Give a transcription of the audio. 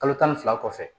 Kalo tan ni fila kɔfɛ